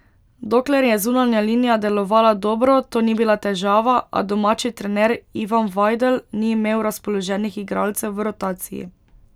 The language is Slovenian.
Dokler je zunanja linija delovala dobro, to ni bila težava, a domači trener Ivan Vajdl ni imel razpoloženih igralcev v rotaciji.